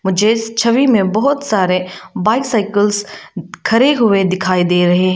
मुझे इस छवि में बहुत सारे बाइसाइकिल्स खड़े हुए दिखाई दे रहे हैं।